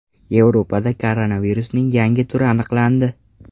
Yevropada koronavirusning yangi turi aniqlandi.